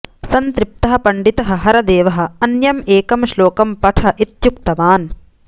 सन्तृप्तः पण्डितः हरदेवः अन्यम् एकं श्लोकं पठ इत्युक्तवान्